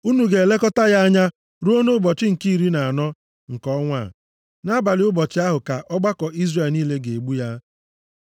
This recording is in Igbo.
Unu ga-elekọta ya anya ruo nʼụbọchị nke iri na anọ nke ọnwa a. Nʼabalị ụbọchị ahụ ka ọgbakọ Izrel niile ga-egbu ya.